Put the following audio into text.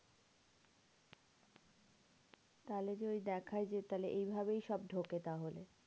তাহলে যে ওই দেখায় যে তাহলে এইভাবেই সব ঢোকে তাহলে।